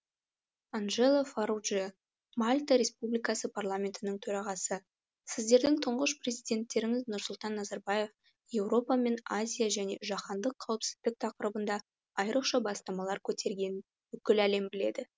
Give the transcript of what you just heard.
анджело фарруджиа мальта республикасы парламентінің төрағасы сіздердің тұңғыш президенттеріңіз нұрсұлтан назарбаев еуропа мен азия және жаһандық қауіпсіздік тақырыбында айрықша бастамалар көтергенін бүкіл әлем біледі